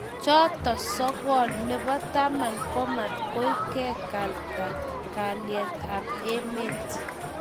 Choto sokol, nebo taman komaktoi kekalbta kalyet ab emet